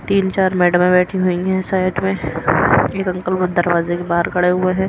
तीन चार मैडमें बैठी हुई हैं साइड में एक अंकल दरवाज़े के बाहर खड़े हुए हैं।